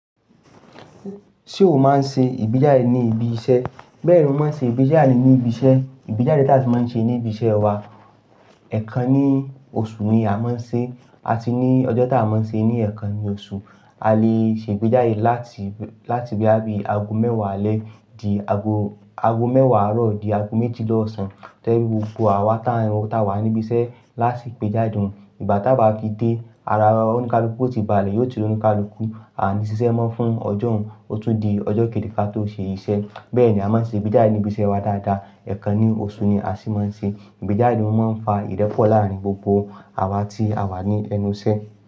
Ṣé mo máa ń ṣe ìgbéjáde ní ibi iṣẹ́? Bẹ́ẹ̀ ni mo máa ń ṣe ìgbéjáde ní ibi iṣẹ́. Ìgbéjáde tí a si máa ń ṣe ní ibi iṣẹ́ wa, ẹ̀kan ní oṣù ni a máa ń ṣe, àti ní ọjọ́ tá a máa ń ṣe ní ẹ̀kan ní oṣù. A lè ṣe ìgbéjáde láti, láti bí i àbí aago mẹ́wàá alẹ́ di aago, aago mẹ́wàá àárọ̀ di aago méjìla òsán. To je pe gbogbo àwa tá, tá wa níbi iṣẹ́ láasi gbéjáde òun. Ìgbà tá a bá fi dé, ara òǹikàlùkù yio ti báálẹ̀ yóò ti re òǹikàlùkù. A ní ṣiṣẹ́ mọ́ fún ọjọ́ òhún, ó tún di ọjọ́ kejì ká tó ṣe iṣẹ́. Bẹ́ẹ̀ ni a máa ń ṣe ìgbéjáde ní ibi iṣẹ́ wa dáadáa. Ẹ̀kan ní oṣù ni a sì máa ń ṣe. Ìgbéjáde ò máa ń fa ìrépò láàárín gbogbo àwa tí a wà ní ẹnu iṣẹ́